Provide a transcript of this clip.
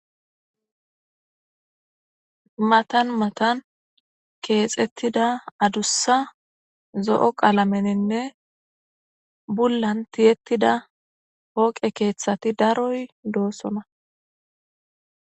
matan matan keexettida adussa zo7o qalameninne bullan tiyettida hooqe keeththati daroy doossona